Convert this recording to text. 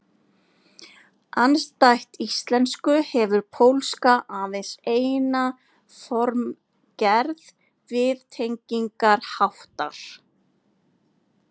Andstætt íslensku hefur pólska aðeins eina formgerð viðtengingarháttar.